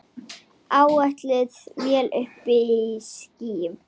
Áætluð vél uppí skýjum.